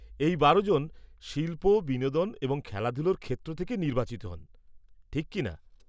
এই বারোজন শিল্প, বিনোদন এবং খেলাধুলার ক্ষেত্র থেকে নির্বাচিত হন, ঠিক কি না?